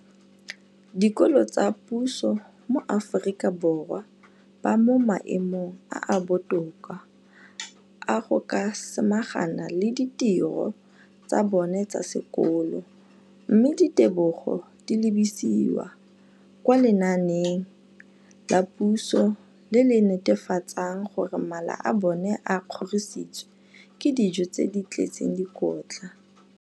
dikolo tsa puso mo Aforika Borwa ba mo maemong a a botoka a go ka samagana le ditiro tsa bona tsa sekolo, mme ditebogo di lebisiwa kwa lenaaneng la puso le le netefatsang gore mala a bona a kgorisitswe ka dijo tse di tletseng dikotla.